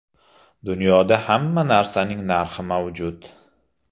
Dunyoda hamma narsaning narxi mavjud.